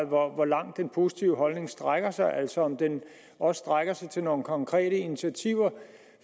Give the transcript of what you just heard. hvor langt den positive holdning strækker sig altså om den også strækker sig til nogle konkrete initiativer